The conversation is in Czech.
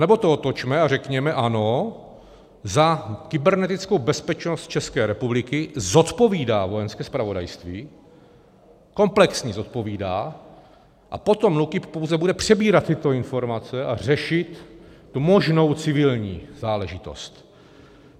Anebo to otočme a řekněme ano, za kybernetickou bezpečnost České republiky zodpovídá Vojenské zpravodajství, komplexně zodpovídá, a potom NÚKIB pouze bude přebírat tyto informace a řešit tu možnou civilní záležitost.